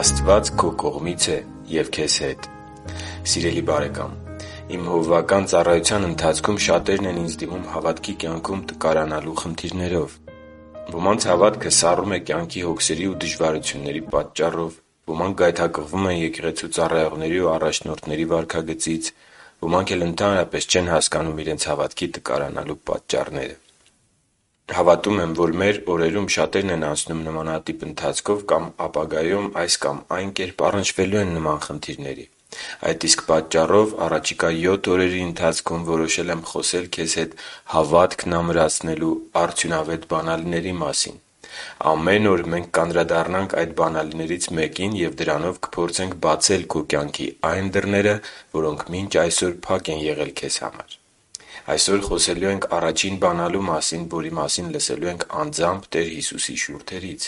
Աստված քո կողմից է և քեզ հետ 💪 Սիրելի՛ բարեկամ, իմ հովվական ծառայության ընթացքում շատերն են ինձ դիմում հավատքի կյանքում տկարանալու խնդիրներով։ Ոմանց հավատքը սառում է կյանքի հոգսերի ու դժվարությունների պատճառով, ոմանք գայթակղվում են եկեղեցու ծառայողների ու առաջնորդների վարքագծից ու բացահայտված մեղքի կյանքից, ոմանք էլ ընդհանրապես չեն հասկանում իրենց հավատքի տկարանալու պատճառները։ Հավատում եմ, որ մեր օրերում շատերն են անցնում նմանատիպ ընթացքով կամ ապագայում, այս կամ այն կերպ, առնչվելու են նման խնդիրների։ Այդ իսկ պատճառով առաջիկա յոթ օրերի ընթացքում որոշել եմ խոսել քեզ հետ հավատքն ամրացնելու արդյունավետ բանալիների մասին։ Ամեն օր մենք կանդրադառնանք այդ բանալիներից մեկին, և դրանով կփորձենք բացել քո կյանքի այն դռները, որոնք մինչ այսօր փակ են եղել քեզ համար։ Այսօր խոսելու ենք առաջին բանալու մասին, որի մասին լսելու ենք անձամբ Տեր Հիսուսի շուրթերից.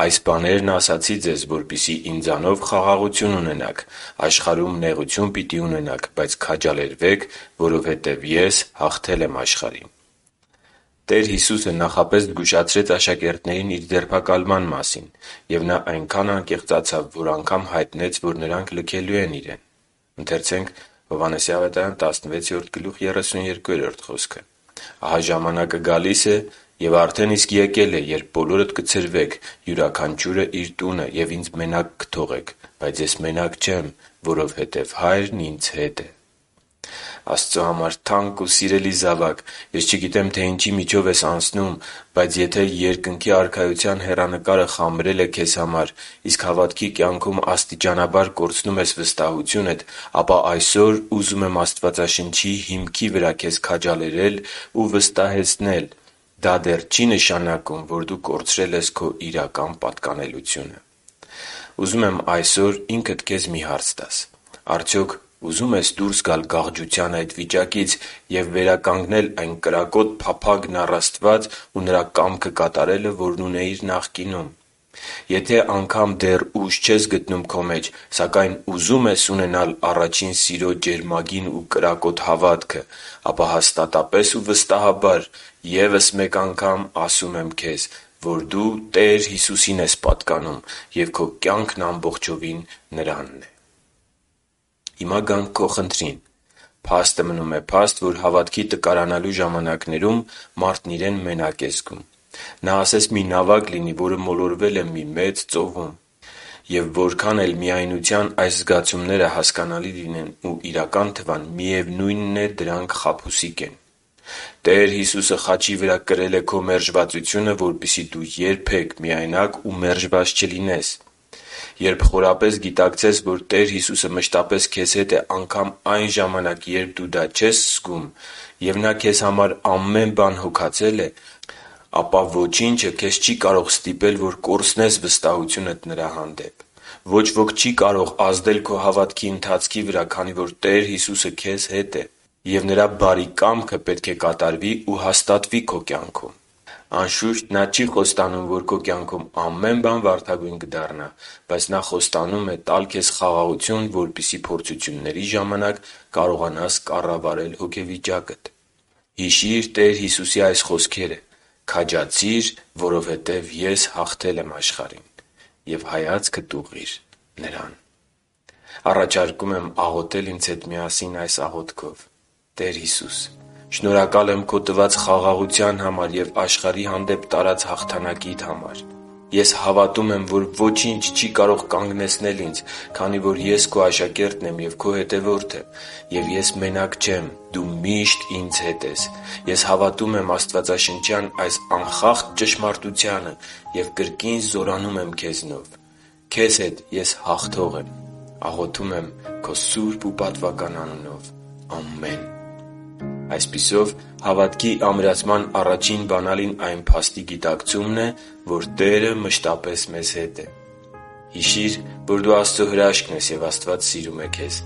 «Այս բաներն ասացի ձեզ, որպեսզի Ինձնով խաղաղություն ունենաք։ Աշխարհում նեղություն պիտի ունենաք, բայց քաջալերվե՛ք, որովհետև Ես հաղթել եմ աշխարհին» (Հովհաննես 16.33)։ Տեր Հիսուսը նախապես զգուշացրեց աշակերտներին Իր ձերբակալման մասին։ Եվ Նա այնքան անկեղծացավ, որ անգամ հայտնեց, որ նրանք լքելու են Իրեն. «Ահա ժամանակը գալիս է, և արդեն իսկ եկել է, երբ բոլորդ կցրվեք, յուրաքանչյուրը՝ իր տունը, և Ինձ մենակ կթողնեք։ Բայց Ես մենակ չեմ, որովհետև Հայրն Ինձ հետ է» (Հովհաննես 16.32)։ Աստծո համար թանկ ու սիրելի՛ զավակ, ես չգիտեմ, թե ինչի միջով ես դու անցնում, բայց եթե Երկնքի Արքայության հեռանկարը խամրել է քեզ համար, իսկ հավատքի կյանքում աստիճանաբար կորցնում ես վստահությունդ, ապա այսօր ուզում եմ Աստվածաշնչի հիմքի վրա քեզ քաջալերել ու վստահեցնել դա դեռ չի նշանակում, որ դու կորցրել ես քո իրական պատկանելությունը։ Ուզում եմ այսօր ինքդ քեզ մի հարց տաս․ արդյոք ուզո՞ւմ ես դուրս գալ գաղջության այդ վիճակից և վերականգնել այն կրակոտ փափագն առ Աստված ու Նրա կամքը կատարելը, որն ունեիր նախկինում։ Եթե անգամ դեռ ուժ չես գտնում քո մեջ, սակայն ուզում ես ունենալ առաջին սիրո ջերմագին ու կրակոտ հավատքը, ապա հաստատապես ու վստահաբար ասում եմ քեզ, որ դու Տեր Հիսուսին ես պատկանում ու քո կյանքն ամբողջովին Նրանն է։ Հիմա գանք քո խնդրին։ Փաստը մնում է փաստ, որ հավատքի տկարանալու ժամանակներում մարդն իրեն մենակ է զգում։ Նա ասես մի նավակ լինի, որը մոլորվել է մեծ ծովում… Եվ որքան էլ միայնության այս զգացումները հասկանալի լինեն ու իրական թվան, միևնույնն է, դրանք խաբուսիկ են։ Տեր Հիսուսը խաչի վրա կրել է քո մերժվածությունը, որպեսզի դու ԵՐԲԵ՛Ք միայնակ ու մերժված չլինես։ Երբ խորապես գիտակցես, որ Տեր Հիսուսը մշտապես քեզ հետ է անգամ այն ժամանակ, երբ դու դա չես զգում, և Նա քեզ համար ամեն բան հոգացել է, ապա ոչինչ քեզ չի կարող ստիպել, որ կորցնես վստահությունդ Նրա հանդեպ։ Ոչ ոք չի կարող ազդել քո հավատքի ընթացքի վրա, քանի որ Տեր Հիսուսը քեզ հետ է, և Նրա բարի կամքը պետք է կատարվի ու հաստատվի քո կյանքում։ Անշուշտ, Նա չի խոստանում, որ քո կյանքում ամեն բան վարդագույն կդառնա, բայց Նա խոստանում է տալ քեզ խաղաղություն, որպեսզի փորձությունների ժամանակ կարողանաս կառավարել իրավիճակները։ Հիշի՛ր Տեր Հիսուսի այս խոսքերը. «Քաջացի՛ր, որովհետև Ես հաղթել եմ աշխարհին», և հայացքդ ուղղի՛ր Նրան: Առաջարկում եմ աղոթել ինձ հետ միասին այս աղոթքով. «Տե՛ր Հիսուս, շնորհակալ եմ Քո տված խաղաղության և աշխարհի հանդեպ տարած հաղթանակիդ համար։ Ես հավատում եմ, որ ոչինչ չի՛ կարող կանգնեցնել ինձ, քանի որ ես Քո աշակերտն եմ և Քո հետևորդը։ Եվ ես մենակ չե՛մ։ Դու մի՛շտ ինձ հետ ես։ Ես հավատում եմ աստվածաշնչյան այս անխախտ ճշմարտությանը և կրկի՛ն զորանում եմ Քեզնով։ Քեզ հետ ես հաղթո՛ղ եմ։ Աղոթում եմ Քո սուրբ ու պատվական անունով։ Ամե՛ն»։ Այսպիսով, հավատքի ամրացման առաջին բանալին այն փաստի գիտակցումն է, որ Տերը մշտապես մեզ հետ է։ Հիշի՛ր, որ դու Աստծո հրաշքն ես, և Աստված սիրում է քեզ։